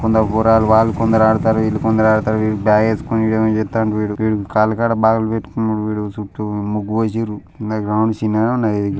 కొందరు పోరగాళ్లు వాళ్లు కొందరు ఆడతారు వీళ్లు కొందరు ఆడతారు వీడు బ్యాగ్ వేసుకొని వీడు ఏమో చేత్తాండు వీడు వీడు కాల్ కాడ బ్యాగు లు పెట్టుకున్నాడు వీడు చుట్టు ముగ్గు పోసిన్రు గ్రౌండ్ చిన్నగానే ఉంది ఇది.